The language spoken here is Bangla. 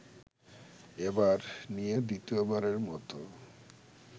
এবার নিয়ে দ্বিতীয়বারের মতো